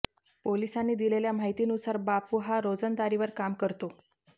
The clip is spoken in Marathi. पोलिसांनी दिलेल्या माहितीनूसार बापू हा रोजंदारीवर काम करतो